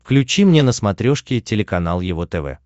включи мне на смотрешке телеканал его тв